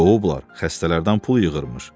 Qovublar, xəstələrdən pul yığırmış.